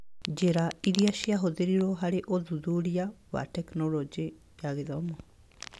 Njĩra iria cia ũthĩrirwo harĩ ũthuthuria wa Tekinoronjĩ ya Gĩthomo